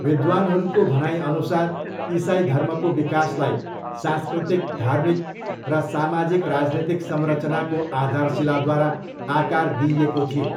विद्वानहरूको भनाइअनुसार इसाई धर्मको विकासलाई, सांस्कृतिक, धार्मिक र सामाजिक राजनीतिक संरचनाको आधारशिलाद्वारा आकार दिइएको थियो।